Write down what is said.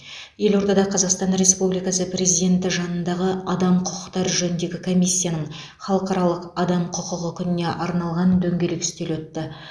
елордада қазақстан республикасы президенті жанындағы адам құқықтары жөніндегі комиссияның халықаралық адам құқығы күніне арналған дөңгелек үстел өтті